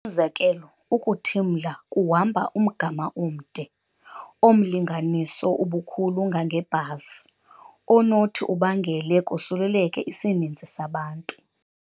Umzekelo, ukuthimla kuhamba umgama omde, omlinganiso ubukhulu ngangebhasi, onothi ubangele kusuleleke isininzi sabantu.